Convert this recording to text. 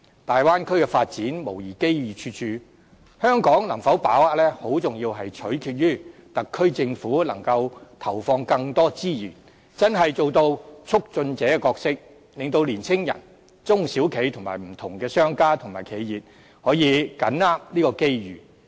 大灣區的發展無疑機遇處處，香港能否把握，很重要取決於特區政府能投放更多資源，真正做到促進者的角色，令年青人、中小企和不同的商家、企業可以緊握這些機遇。